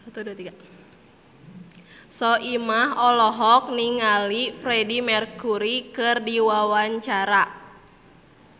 Soimah olohok ningali Freedie Mercury keur diwawancara